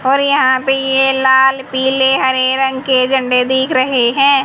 और यहां पे ये लाल पीले हरे रंग के झंडे दीख रहे हैं।